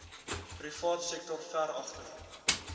privaatsektor ver agter